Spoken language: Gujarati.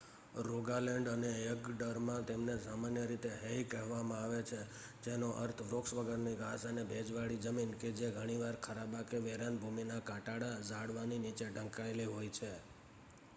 "રોગાલેન્ડ અને એગડરમાં તેમને સામાન્ય રીતે "હેઇ" કહેવામાં આવે છે જેનો અર્થ વૃક્ષ વગરની ઘાસ અને ભેજવાળી જમીન કે જે ઘણીવાર ખરાબા કે વેરાન ભૂમિનાં કાંટાળાં ઝાડવાંની નીચે ઢંકાયેલી હોય છે.